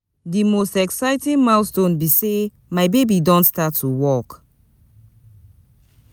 di most exciting milestone be say my baby don start to walk.